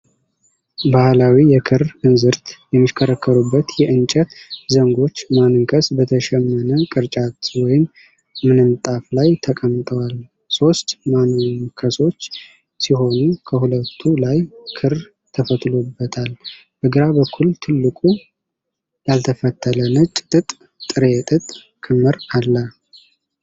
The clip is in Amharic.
ባህላዊ የክር እንዝርት የሚሽከረከሩበት የእንጨት ዘንጎች ማንከስ በተሸመነ ቅርጫት ወይም ምንጣፍ ላይ ተቀምጠዋል። ሦስት ማንከሶች ሲሆኑ፣ ከሁለቱ ላይ ክር ተፈትሎበታል። በግራ በኩል ትልቁ ያልተፈተለ ነጭ ጥጥ ጥሬ ጥጥ ክምር አለ።